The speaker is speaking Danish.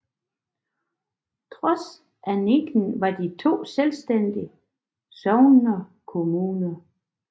Trods annekteringen var de to selvstændige sognekommuner